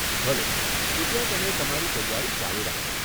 ભલે, કૃપયા તમે તમારી તૈયારી ચાલુ રાખો.